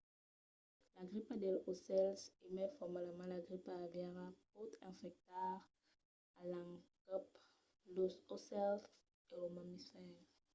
la gripa dels aucèls o mai formalament la gripa aviària pòt infectar a l’encòp los aucèls e los mamifèrs